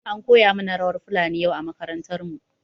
An koya mana rawar fulani yau a makarantar mu.